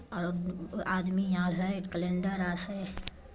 आरो आदमी आर है कैलेंडर आर है।